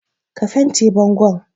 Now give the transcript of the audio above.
Ka fente bangon.